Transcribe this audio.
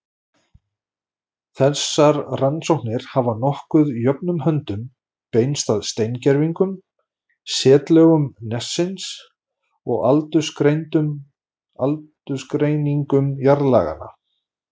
Þessar rannsóknir hafa nokkuð jöfnum höndum beinst að steingervingum, setlögum nessins og aldursgreiningum jarðlaganna.